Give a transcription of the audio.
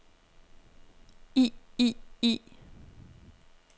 i i i